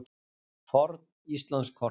Forn Íslandskort.